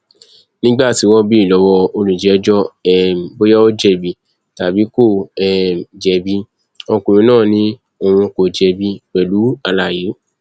nígbà tí wọn béèrè lọwọ olùjẹjọ um bóyá ó jẹbi tàbí kó um jẹbi ọkùnrin náà ni òun kò jẹbi pẹlú àlàyé